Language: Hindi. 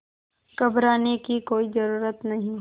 घबराने की कोई ज़रूरत नहीं